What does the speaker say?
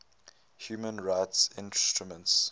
human rights instruments